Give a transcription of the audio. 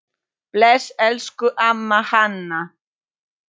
Bless, elsku amma Hanna.